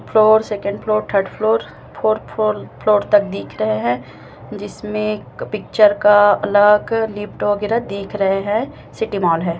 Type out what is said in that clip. Floor second floor third floor fourth four floor तक दिख रहे है जिसमें एक पिक्चर का लगा कर लिफ्ट वगैरह दिख रहे है सिटी मॉल हैं।